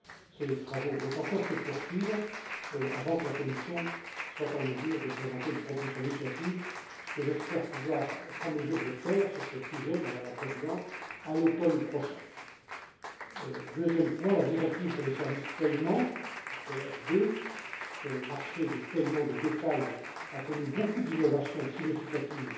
Ces travaux vont encore se poursuivre avant que la Commission soit en mesure de présenter une proposition législative, ce que j'espère pouvoir faire sur ce sujet, Madame la Présidente, à l'automne prochain. Concernant la directive sur les services de paiement le marché des paiements de détail a connu beaucoup d'innovations significatives